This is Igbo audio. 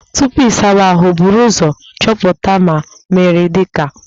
Tupu ị sawa ahụ, buru ụzọ chọpụta ma mmiri dị na bọketi